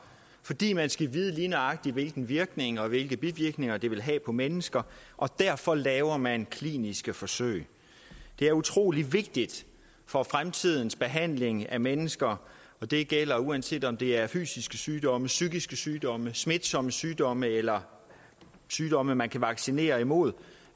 fordi man skal vide lige nøjagtig hvilken virkning og hvilke bivirkninger det vil have på mennesker og derfor laver man kliniske forsøg det er utrolig vigtigt for fremtidens behandling af mennesker og det gælder uanset om det er fysiske sygdomme psykiske sygdomme smitsomme sygdomme eller sygdomme man kan vaccinere imod